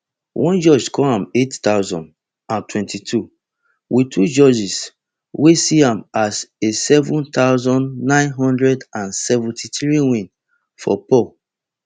one judge score am eight thousand and seventy-two wit two judges wey see am as a seven thousand, nine hundred and seventy-three win for paul